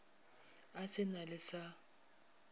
a se na le sa